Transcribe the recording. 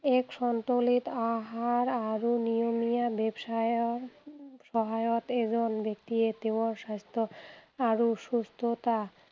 এক সন্তোলিত আহাৰ আৰু নিয়মীয়া ব্যায়ামৰ সহায়ত এজন ব্যক্তিয়ে তেওঁৰ স্বাস্থ্য আৰু সুস্থতা